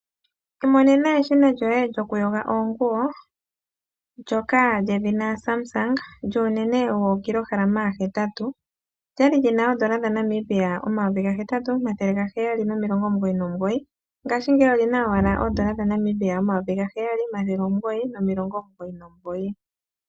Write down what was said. Imonena eshina lyoye lyoku yoga oonguwo, ndjoka lyedhina Samsung lyuunene wookilohalama hetatu. Lyali lyina oondola dha Namibia omayovi gahetatu, omathele gaheyali nomilomgo omugoyi nomugoyi. Ngashingeyi olina owala oondola dha Namibia omayovi gaheyali, omathele omugoyi nomilongo omugoyi nomugoyi.